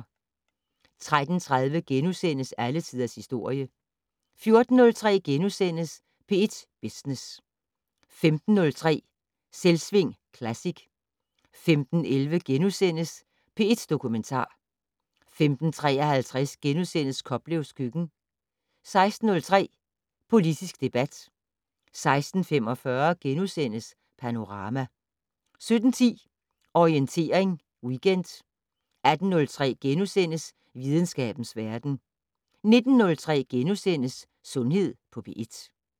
13:30: Alle tiders historie * 14:03: P1 Business * 15:03: Selvsving Classic 15:11: P1 Dokumentar * 15:53: Koplevs køkken * 16:03: Politisk debat 16:45: Panorama * 17:10: Orientering Weekend 18:03: Videnskabens verden * 19:03: Sundhed på P1 *